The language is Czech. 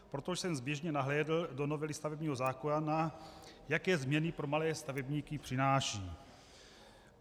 Proto jsem zběžně nahlédl do novely stavebního zákona, jaké změny pro malé stavebníky přináší.